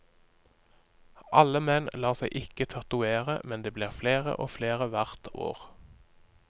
Alle menn lar seg ikke tatovere, men det blir flere og flere hvert år.